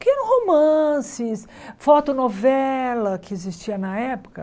que eram romances, fotonovela que existia na época.